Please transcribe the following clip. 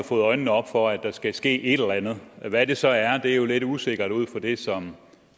fået øjnene op for at der skal ske et eller andet hvad det så er er jo lidt usikkert ud fra det som